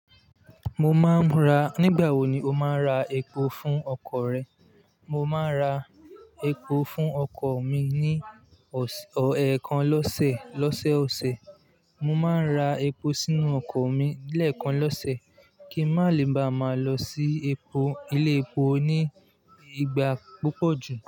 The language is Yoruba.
Nígbà wo ni o máa ń ra epo fún ọkọ̀ rẹ? Mo máa ń ra epo fún ọkọ̀ mi ní ẹ̀ẹ̀kan lọ́sẹ̀, lọ́sẹ̀ ọ̀sẹ̀. Mo máa ń ra epo sínú ọkọ̀ mi lẹ́ẹ̀kan lọ́sẹ̀ kí n má lè bá máa lọ sí ilé epo ní ìgbà púpọ̀ jù.